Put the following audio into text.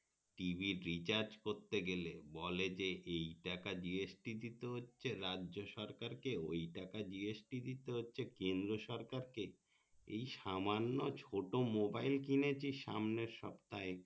TVrecharge করতে গেলে বলে যে এই টাকা GST দিতে হচ্ছে রাজ্য সরকারকে ওই টাকা GST দিতে হচ্ছে কেন্দ্র সরকারকে এই সামান্য ছোট mobile কিনিছি সামনে সপ্তাহে